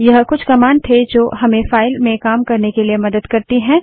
यह कुछ कमांड थे जो हमें फाइल में काम करने के लिए मदद करती हैं